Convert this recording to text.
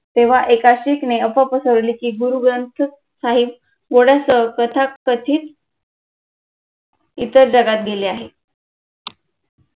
तेव्हा एका सिखने अफवा पसरवली की गुरु ग्रंथ साहिब कथित इतर जागत गेले आहे